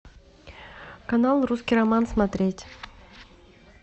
канал русский роман смотреть